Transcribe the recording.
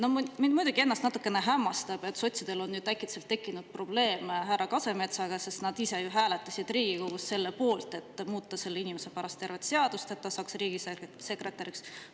" Mind muidugi natuke hämmastab, et sotsidel on äkitselt tekkinud probleem härra Kasemetsaga, sest nad ju hääletasid Riigikogus selle poolt, et muuta selle inimese pärast tervet seadust, et ta saaks riigisekretäriks.